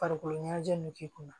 Farikolo ɲɛnajɛ nunnu k'i kunna